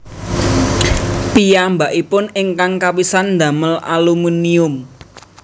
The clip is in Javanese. Piyambakipun ingkang kapisan ndamel aluminium